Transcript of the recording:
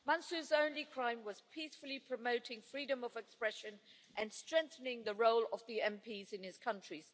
Mansoor's only crime was peacefully promoting freedom of expression and strengthening the role of the MPs in his country.